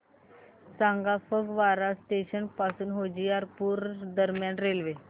सांगा फगवारा जंक्शन पासून होशियारपुर दरम्यान रेल्वे